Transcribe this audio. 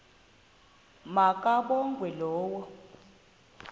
ma kabongwe low